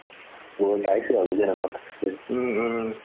মই পাইছো আৰু কিয় নাপাম